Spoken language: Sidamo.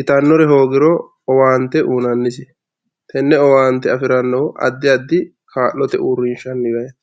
itanore hogiro owante uyinanisi tene owonte afiranohu adi adi kaalote urishaniti